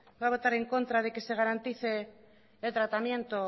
va a votar en contra de que se garantice el tratamiento